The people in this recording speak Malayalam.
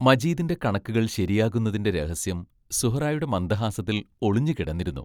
മജീദിന്റെ കണക്കുകൾ ശരിയാകുന്നതിന്റെ രഹസ്യം സുഹ്റായുടെ മന്ദഹാസത്തിൽ ഒളിഞ്ഞുകിടന്നിരുന്നു.